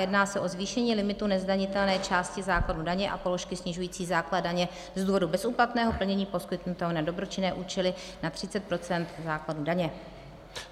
Jedná se o zvýšení limitu nezdanitelné části základu daně a položky snižující základ daně z důvodu bezúplatného plnění poskytnutého na dobročinné účely na 30 % základu daně.